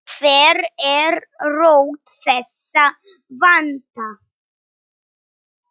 Hver er rót þessa vanda?